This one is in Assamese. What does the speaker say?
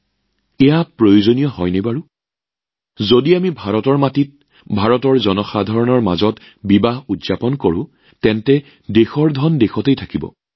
এইবোৰ জানো সঁচাই প্ৰয়োজন যদি আমি ভাৰতৰ মাটিত ভাৰতৰ জনসাধাৰণৰ মাজত বিবাহৰ উৎসৱ উদযাপন কৰো তেন্তে দেশৰ ধন দেশত থাকিব